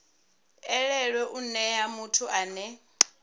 elelwe u nea muthu ane